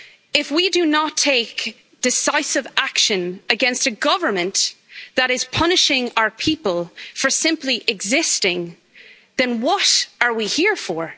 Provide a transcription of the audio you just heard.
If we do not take decisive action against a government that is punishing our people for simply existing, then what are we here for?